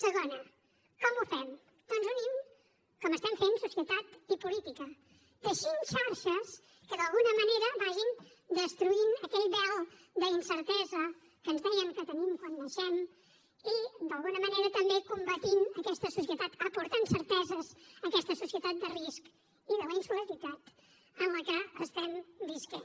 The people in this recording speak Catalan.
segona com ho fem doncs unint com estem fent societat i política teixint xarxes que d’alguna manera vagin destruint aquell vel d’incertesa que ens deien que tenim quan naixem i d’alguna manera també combatent aquesta societat aportant certeses a aquesta societat de risc i de la insolidaritat en què estem vivint